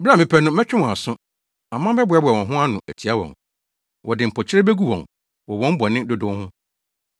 Bere a mepɛ no, mɛtwe wɔn aso; aman bɛboaboa wɔn ho ano atia wɔn. Wɔde mpokyerɛ begu wɔn wɔ wɔn bɔne dodow ho.